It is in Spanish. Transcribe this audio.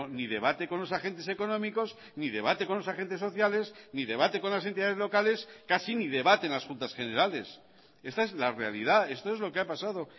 ni debate con los agentes económicos ni debate con los agentes sociales ni debate con las entidades locales casi ni debate en las juntas generales esta es la realidad esto es lo que ha pasado